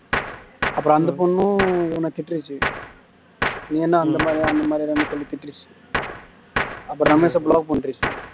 அப்பறம் அந்த பொண்ணும் இவன திட்டிருச்சு நீ என்ன அந்த மாதிரியா அந்த மாதிரியாடான்னு சொல்லி திட்டிருச்சு அப்பறம் ரமேஷ block பண்ணிருச்சு